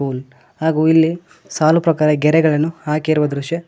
one ಹಾಗು ಇಲ್ಲಿ ಸಾಲು ಪ್ರಕಾರ ಗೆರೆಗಳನ್ನು ಹಾಕಿರುವ ದೃಶ್ಯ--